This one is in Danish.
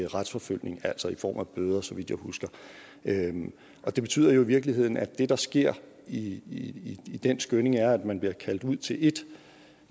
retsforfølgning altså i form af bøder så vidt jeg husker det betyder jo i virkeligheden at det der sker i den skynding er at man bliver kaldt ud til ét